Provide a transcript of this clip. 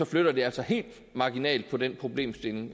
flytter det altså helt marginalt på den problemstilling